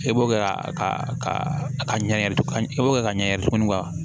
E b'o kɛ a ka a ka ɲɛ i b'o kɛ ka ɲɛ tuguni ka